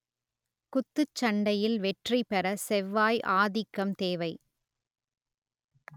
குத்துச்சண்டையில் வெற்றி பெற செவ்வாய் ஆதிக்கம் தேவை